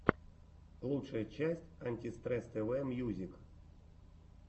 лучшая часть антистресс тв мьюзик